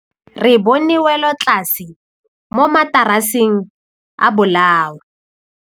Re bone wêlôtlasê mo mataraseng a bolaô.